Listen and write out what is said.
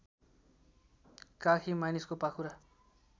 काखी मानिसको पाखुरा